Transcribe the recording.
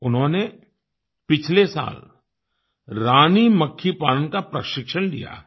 उन्होंने पिछले साल रानी मक्खी पालन का प्रशिक्षण लिया है